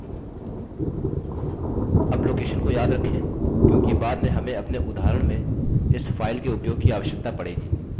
अब location को याद रखें क्योंकि बाद में हमें अपने उदाहरण में इस फाइल के उपयोग की आवश्यकता पड़ेगी